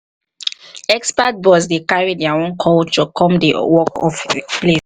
expat boss dey carry their own culture come di work place